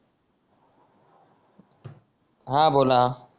हा बोला